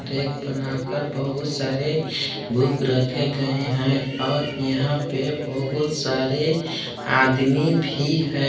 Rack बनाकर बहुत सारे बुक रखे गए हैं और यहां पर बहुत सारे आदमी भी है।